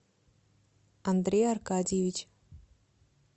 андрей аркадьевич